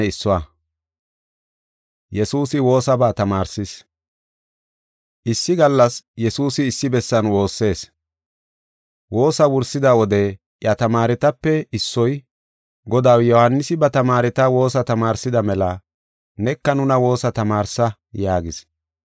Issi gallas Yesuusi issi bessan woossees. Woosaa wursida wode iya tamaaretape issoy, “Godaw, Yohaanisi ba tamaareta woosa tamaarsida mela neka nuna woosa tamaarsa” yaagis.